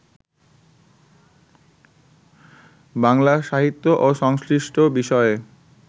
বাংলা সাহিত্য ও সংশ্লিষ্ট বিষয়ে